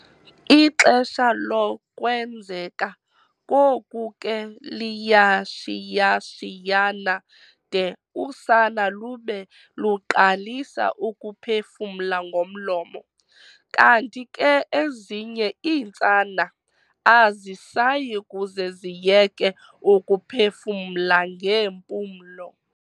Ixesha lokwenzeka koku ke liyashiyashiyana de usana lube luqalisa ukuphefumla ngomlomo, kanti ke ezinye iintsana azisayi kuze ziyeke ukuphefumla ngeempulo.